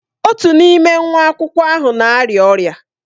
Otu n'ime nwa akwụkwọ ahụ na-arịa ọrịa.